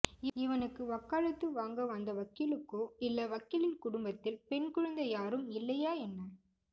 இவனுக்கு வக்காலத்து வாங்க வந்த வக்கீலுக்கோ இல்ல வக்கீலின் குடும்பத்தில் பெண் குழந்தை யாரும் இல்லையா என்ன